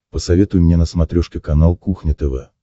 посоветуй мне на смотрешке канал кухня тв